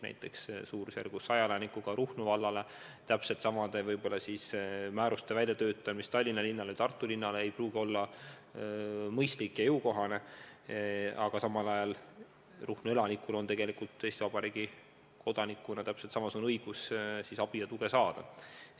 Näiteks umbes 100 elanikuga Ruhnu vallale täpselt samasuguste määruste väljatöötamine kui Tallinna linnale või Tartu linnale ei pruugi olla mõistlik ja jõukohane, aga samal ajal on Ruhnu elanikul Eesti Vabariigi kodanikuna täpselt samasugune õigus siis abi ja tuge saada.